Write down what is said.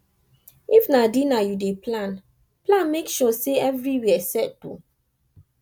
if na dinner yu dey plan plan mek sure sey evriwia set o